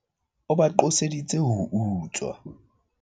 o ba qoseditse ho utswa